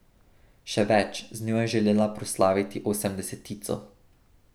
Še več, z njo je želela proslaviti osemdesetico.